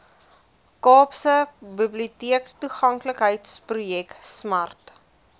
kaapstadse biblioteektoeganklikheidsprojek smart